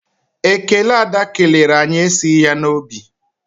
Ekele Ada kelere anyị esighị ya n'obi.